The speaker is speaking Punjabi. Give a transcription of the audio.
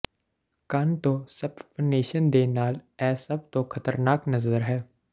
ਕੰਨ ਤੋਂ ਸਪੱਪਨੇਸ਼ਨ ਦੇ ਨਾਲ ਇਹ ਸਭ ਤੋਂ ਖਤਰਨਾਕ ਨਜ਼ਰ ਹੈ